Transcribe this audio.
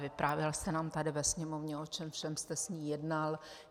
Vyprávěl jste nám tady ve Sněmovně, o čem všem jste s ní jednal.